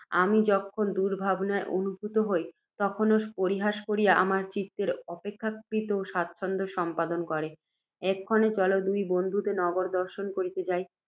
আমি যখন দুর্ভাবনায় অভিভূত হই, তখন ও পরিহাস করিয়া আমার চিত্তের অপেক্ষাকৃত সাচ্ছন্দ্য, সম্পাদন করে। এক্ষণে চল, দুই বন্ধুতে নগর দর্শন করিতে যাই